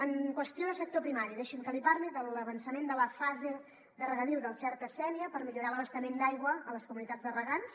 en qüestió de sector primari deixi’m que li parli de l’avançament de la fase de regadiu del xerta sénia per millorar l’abastament d’aigua a les comunitats de regants